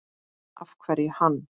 Af hverju hann?